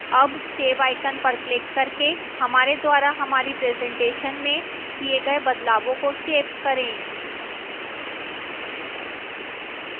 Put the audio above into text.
अब save icon पर click करके हमारे द्वारा हमारी presentation में किए गए बदलावों को सेव करें